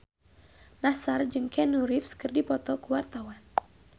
Nassar jeung Keanu Reeves keur dipoto ku wartawan